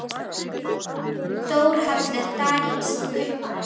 Þar var kominn Þórhallur Daníelsson kaupmaður.